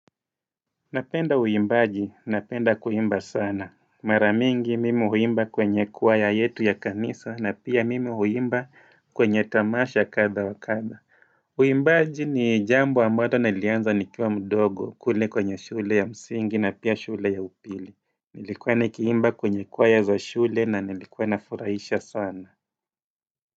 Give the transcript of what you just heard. Napenda uimbaji, napenda kuimba sana. Mara mingi mimi uimba kwenye choir yetu ya kanisa na pia mimi uimba kwenye tamasha kadha wa kadha. Uimbaji ni jambo ambalo nalianza nikiwa mdogo kule kwenye shule ya msingi na pia shule ya upili. Nilikuwa nikiimba kwenye choir za shule na nilikuwa na furaisha sana.